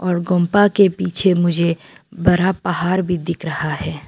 और गोम्पा के पीछे मुझे बड़ा पहाड़ भी दिख रहा है।